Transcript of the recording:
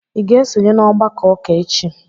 Ị ga-esonye n'ọgbakọ ụka echi?